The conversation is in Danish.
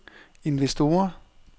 investorer